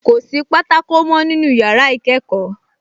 Kò sí pátákó mọ́ nínú yàrá ìkẹ́kọ̀ọ́